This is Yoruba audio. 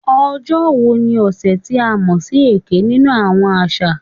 "Ojo wo ni ọsẹ ti a mọ si "Eke" ninu awọn aṣa?"